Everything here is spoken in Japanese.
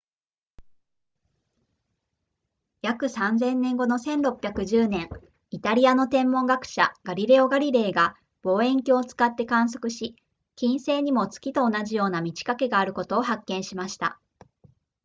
約 3,000 年後の1610年イタリアの天文学者ガリレオガリレイが望遠鏡を使って観測し金星にも月と同じように満ち欠けがあることを発見しました